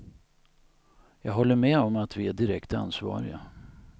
Jag håller med om att vi är direkt ansvariga.